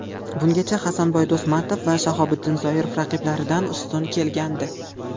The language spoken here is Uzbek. Bungacha Hasanboy Do‘stmatov va Shahobiddin Zoirov raqiblaridan ustun kelgandi.